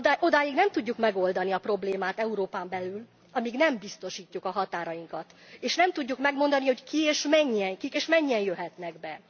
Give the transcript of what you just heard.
Odáig nem tudjuk megoldani a problémát Európán belül, amíg nem biztosítjuk a határainkat, és nem tudjuk megmondani, hogy kik és mennyien jöhetnek be.